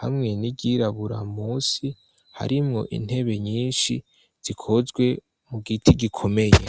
hamwe n'iryirabura musi harimwo intebe nyinshi zikozwe mu giti gikomeye.